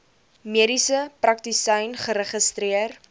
mediese praktisyn geregistreer